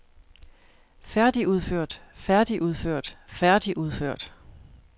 færdigudført færdigudført færdigudført